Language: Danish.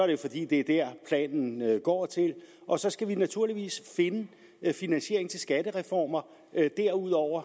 jo fordi det er der planen går til og så skal vi naturligvis finde finansieringen til skattereformer derudover